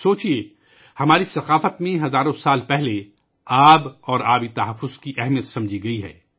سوچیے ، ہماری تہذیب میں ہزاروں سال پہلے پانی اور پانی کے تحفظ کی اہمیت کو سمجھایا گیا ہے